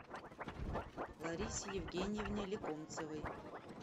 ларисе евгеньевне лекомцевой